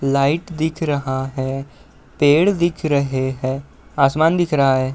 Light दिख रहा है। पेड़ दिख रहे हैं। आसमान दिख रहा है।